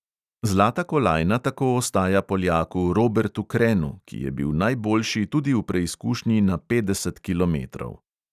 Zlata kolajna tako ostaja poljaku robertu krenu, ki je bil najboljši tudi v preizkušnji na petdeset kilometrov.